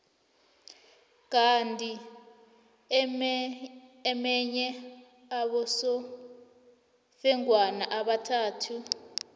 kandi emenye ababosofengwana babathathu